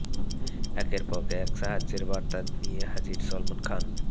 একের পর এক সাহায্য়ের বার্তা নিয়ে হাজির সলমন খান